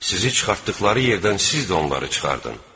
Sizi çıxartdıqları yerdən siz də onları çıxardın.